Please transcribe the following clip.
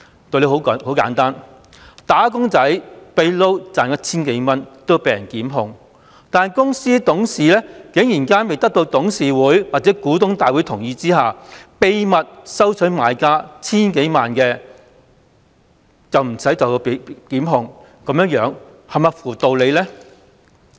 道理十分簡單，"打工仔"私下兼職賺取 1,000 元也會被人檢控，但公司董事竟然在未得到董事會或股東大會同意下秘密收取買家數千萬元報酬但卻不被檢控，這是否合乎道理呢？